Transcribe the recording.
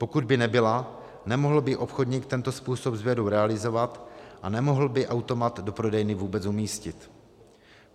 Pokud by nebyla, nemohl by obchodník tento způsob sběru realizovat a nemohl by automat do prodejny vůbec umístit.